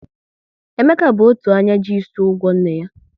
Emeka bụ otu anya ji ịsị ụgwọ nne ya